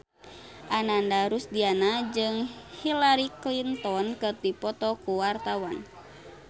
Ananda Rusdiana jeung Hillary Clinton keur dipoto ku wartawan